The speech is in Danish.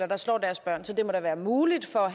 der slår deres børn så det må da være muligt for